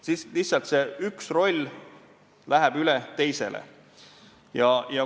Siis läheb lihtsalt see üks roll teisele üle.